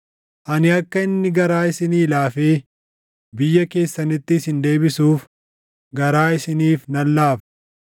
Ani akka inni garaa isinii laafee biyya keessanitti isin deebisuuf garaa isiniif nan laafa.’